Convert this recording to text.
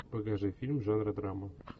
покажи фильм жанра драма